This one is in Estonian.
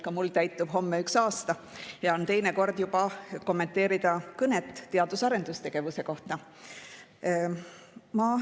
Ka mul täitub homme üks aasta ja mul on juba teine kord kommenteerida kõnet teadus- ja arendustegevuse kohta.